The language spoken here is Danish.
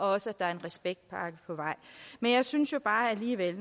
også er en respektpakke på vej men jeg synes bare alligevel